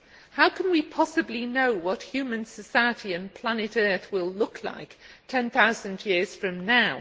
How can we possibly know what human society and Planet Earth will look like ten thousand years from now?